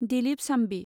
Dilip शांबि